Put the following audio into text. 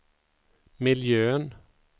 miljön